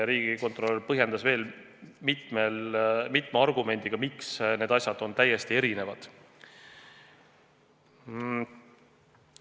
Riigikontrolör põhjendas veel mitme argumendiga, miks need asjad on täiesti erinevad.